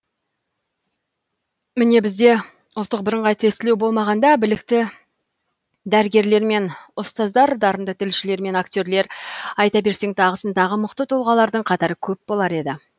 міне бізде ұбт болмағанда білікті дәрігерлер мен ұстаздар дарынды тілшілер мен акте рлар айта берсең тағысын тағы мықты тұлғалардың қатары көп болар еді